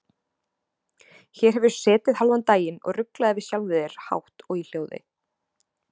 Hér hefurðu setið hálfan daginn og ruglað yfir sjálfum þér hátt og í hljóði.